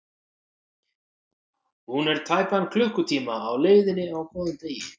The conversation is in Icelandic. Hún er tæpan klukkutíma á leiðinni á góðum degi.